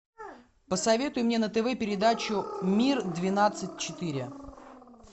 посоветуй мне на тв передачу мир двенадцать четыре